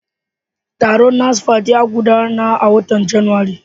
Taron NASFAT ya gudana a watan Janairu.